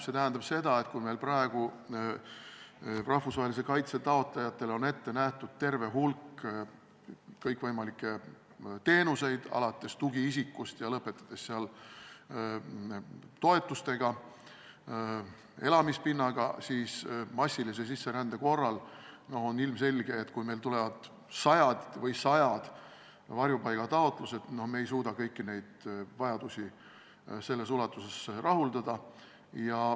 See tähendab seda, et kui meil praegu rahvusvahelise kaitse taotlejatele on ette nähtud terve hulk kõikvõimalikke teenuseid, alates tugiisikust ja lõpetades toetustega, elamispinnaga, siis massilise sisserände korral on ilmselge, et kui meil tulevad sajad varjupaigataotlused, siis me ei suuda kõiki neid vajadusi selles ulatuses rahuldada.